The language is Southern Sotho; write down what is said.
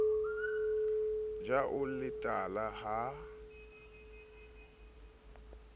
ja o le tala ha